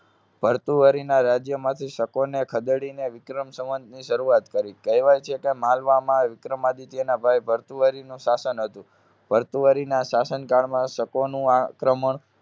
ભર્તુહરિના રાજ્યમાંથી શકોને ખદેડીને વિક્રમ સંવંતની શરૂઆત કરી. કહેવાય છે કે માલવામાં વિક્રમાદિત્યના ભાઈ ભર્તુહરિનું શાસન હતું. ભર્તુહરિના શાસન કાળમાં શકોનું આક્રમણ